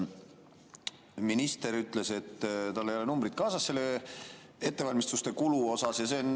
Minister ütles, et tal ei ole numbreid kaasas selle ettevalmistuste kulu kohta.